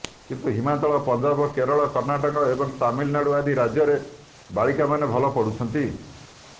କିନ୍ତୁ ହିମାଚଳ ପଞ୍ଜାବ କେରଳ କର୍ଣ୍ଣାଟକ ଏବଂ ତାମିଲନାଡୁ ଆଦି ରାଜ୍ୟରେ ବାଳିକାମାନେ ଭଲ ପଢୁଛନ୍ତି